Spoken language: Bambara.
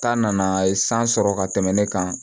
Ta nana a ye san sɔrɔ ka tɛmɛ ne kan